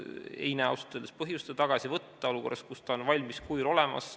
Ma ausalt öeldes ei näe põhjust seda tagasi võtta olukorras, kus ta on valmis kujul olemas.